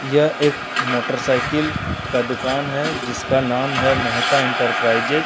यह एक मोटरसाइकिल का दुकान है जिसका नाम है मेहता इंटरप्राइजेज ।